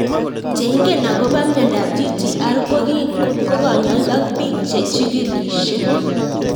Che ing'en akopo miondop GTR ko kanyoik ak piik che chigilishe